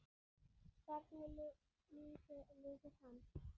Hvernig lífi lifir hann?